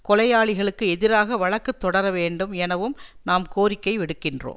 கொலையாளிகளுக்கு எதிராக வழக்கு தொடர வேண்டும் எனவும் நாம் கோரிக்கை விடுக்கின்றோம்